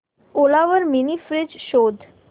ओला वर mini fridge शोध